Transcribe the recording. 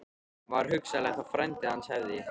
Var hugsanlegt að frændi hans hefði